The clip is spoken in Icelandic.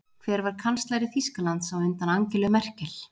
Hver var kanslari Þýskalands á undan Angelu Merkel?